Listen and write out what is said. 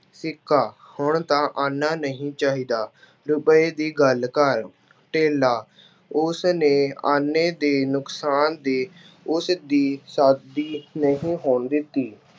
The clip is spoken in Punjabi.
ਸਿੱਕਾ- ਹੁਣ ਤਾਂ ਆਨਾ ਨਹੀਂ ਚਾਹੀਦਾ, ਰੁਪਏ ਦੀ ਗੱਲ ਕਰ। ਧੇਲਾ- ਉਸਨੇ ਆਨੇ ਦੇ ਨੁਕਸਾਨ ਦੀ ਉਸਦੀ ਸ਼ਾਦੀ ਨਹੀਂ ਹੋਣ ਦਿੱਤੀ।